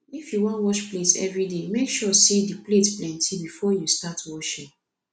if yu wan wash plate evriday mek sure say di plates plenti bifor yu start washing